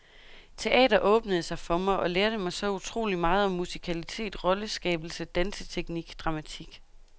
Teater åbnede sig for mig, og lærte mig så utroligt meget om musikalitet, rolleskabelse, danseteknik, dramatik.